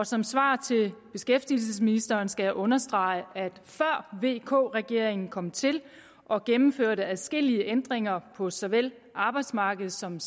som svar til beskæftigelsesministeren skal jeg understrege at før vk regeringen kom til og gennemførte adskillige ændringer på såvel arbejdsmarkedet som